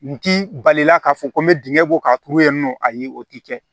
N ti balila k'a fɔ ko n bɛ dingɛ bɔ k'a turu yen nɔ ayi o ti kɛ